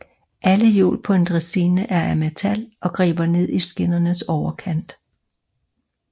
Alle hjul på en dræsine er af metal og griber ned over skinnernes overkant